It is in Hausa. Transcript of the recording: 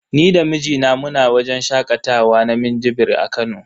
Ni da mijina muna wajen shakatawa na minjibir a Kano.